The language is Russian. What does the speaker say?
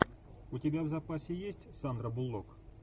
у тебя в запасе есть сандра буллок